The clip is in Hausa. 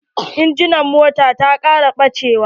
Inji na mota ta ƙara bachewa.